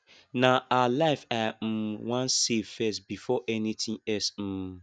na her life i um wan save first before anything else um